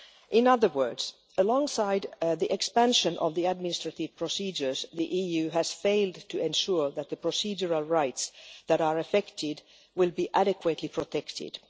In other words, alongside the expansion of administrative procedures, the EU has failed to ensure that the procedural rights that are affected will be adequately protected.